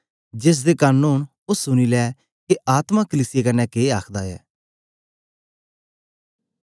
जेसदे कन ओंन ओ सुनी ले के आत्मा कलीसिया कन्ने के आखदा ऐ